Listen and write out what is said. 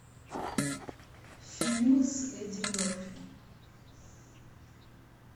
фильмы с эдди мерфи